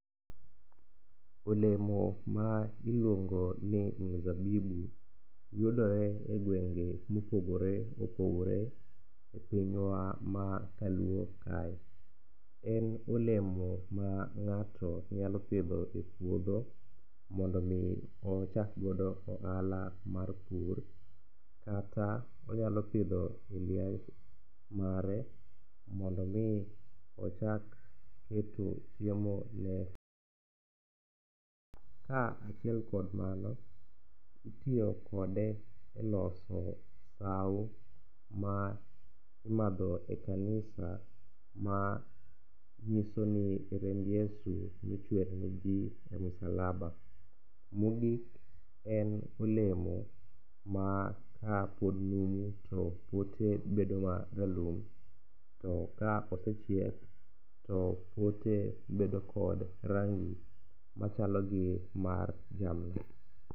olemo ma iluongo ni mzabibu yudore e gwenge mopogore opogore e pinywa ma kaluo kae, en olemo ma ng'ato nyalo pidho e puodho mondo omi ochak godo ohala mar pur, kata onyalo pidho mare mondo omi ochak keto chiemone . Ka achiel kod mano, itiyo kode e loso sawo, ma imadho e kanisa ma nyisoni remb Yesu nochwer ne ji e msalaba. Mogik en olemo ma ka pod numu to pote bedo ma ralum to ka osechiek to pote bedo kod rangi machalo gi mar jamna.